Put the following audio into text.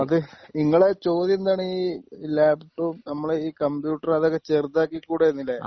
അത് നിങ്ങളെ ചോദ്യം എന്താണ്? ഈ ലാപ്ടോപ് നമ്മുടെ ഈ കമ്പ്യൂട്ടർ അതൊക്കെ ചെറുതാക്കി ക്കൂടെ എന്ന് ല്ലേ?